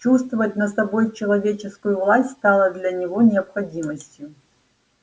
чувствовать над собой человеческую власть стало для него необходимостью